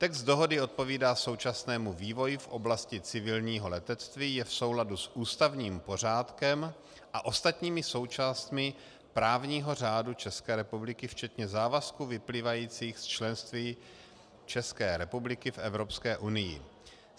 Text dohody odpovídá současnému vývoji v oblasti civilního letectví, je v souladu s ústavním pořádkem a ostatními součástmi právního řádu České republiky včetně závazků vyplývajících z členství České republiky v Evropské unii.